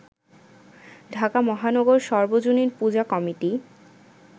ঢাকা মহানগর সর্বজনীন পূজা কমিটি